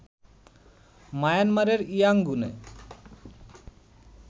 মায়ানমারের ইয়াংগুনে